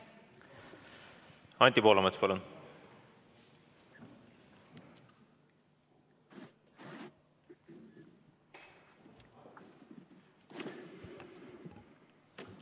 Anti Poolamets, palun!